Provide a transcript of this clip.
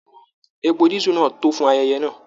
Èpò disu náà tó fún ayẹyẹ náà.